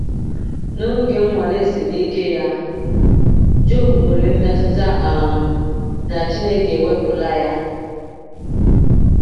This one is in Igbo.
N’oge nnwale siri ike ya, Jọb nwere mmetụta um na Chineke ewepụla ya.